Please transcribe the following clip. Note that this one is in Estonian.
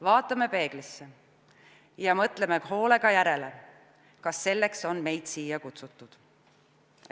Vaatame peeglisse ja mõtleme hoolega järele, kas meid selleks on siia kutsutud.